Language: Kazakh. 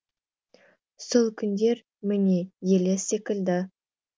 сол күндер міне елес секілді